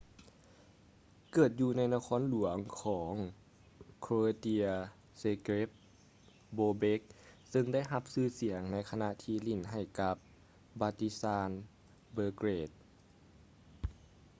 ເກີດຢູ່ໃນນະຄອນຫຼວງຂອງ croatia zagreb bobek ເຊິ່ງໄດ້ຮັບຊື່ສຽງໃນຂະນະທີ່ຫຼິ້ນໃຫ້ກັບ partizan belgrade